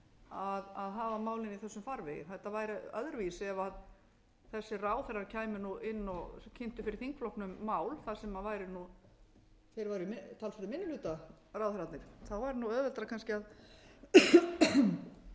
að hafa málin í þessum farvegi þetta væri öðruvísi ef þessir ráðherrar kæmu inn og kynntu fyrir þingflokknum mál þar sem væri nú þeir væru í talsverðum minni hluta ráðherrarnir væri nú auðveldara kannski